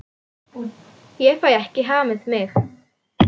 Ég fæ ekki hamið mig.